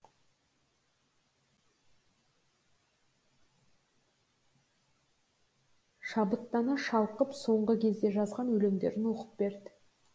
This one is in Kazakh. шабыттана шалқып соңғы кезде жазған өлеңдерін оқып берді